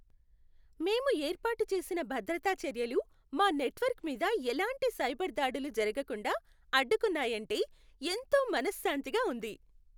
మేము ఏర్పాటు చేసిన భద్రతా చర్యలు మా నెట్వర్క్ మీద ఎలాంటి సైబర్ దాడులు జరగకుండా అడ్డుకున్నాయంటే ఎంతో మనశ్శాంతిగా ఉంది.